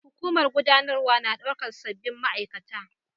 Hukumar gudanarwa na daukar sabbin ma'aikata